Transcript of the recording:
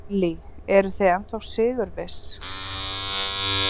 Ellý: Eruð þið ennþá sigurviss?